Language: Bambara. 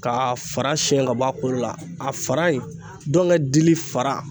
K'a fara siɲɛ k'a bɔ a kolo la a fara in ndɔŋɛ dili fara